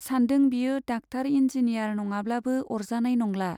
सानदों बियो doctor engineer नङाब्लाबो अरजानाय नंला।